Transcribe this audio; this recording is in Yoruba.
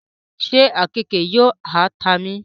ṣe àkekèé yóò ha ta mí?